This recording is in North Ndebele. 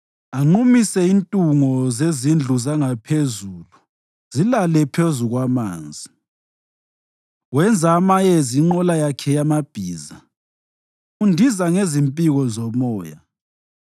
anqumise intungo zezindlu zangaphezulu zilale phezu kwamanzi. Wenza amayezi inqola yakhe yamabhiza, undiza ngezimpiko zomoya.